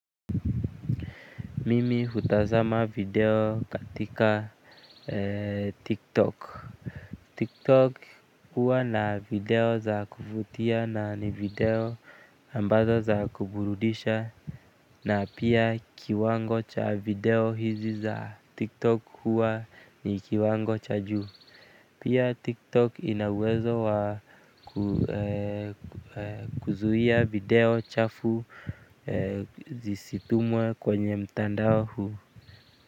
Mimi hutazama video katika Tiktok. Tiktok huwa na video za kuvutia na ni video ambazo za kuburudisha na pia kiwango cha video hizi za tiktok huwa ni kiwango cha juu. Pia tiktok ina uwezo wa kuzuia video chafu zisitumwe kwenye mtandao huu.